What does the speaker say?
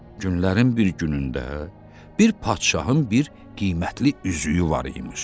Günlərin bir günündə bir padşahın bir qiymətli üzüyü var imiş.